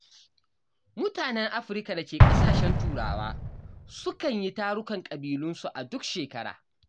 Mutanen Afirka da ke ƙasashen Turawa sukan yi tarukan ƙabilunsu a duk shekara.